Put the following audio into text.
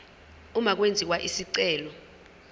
uma kwenziwa isicelo